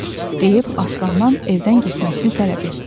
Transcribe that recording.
deyib Aslandan evdən getməsini tələb etdi.